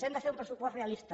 hem de fer un pressupost realista